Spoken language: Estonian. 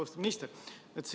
Austatud minister!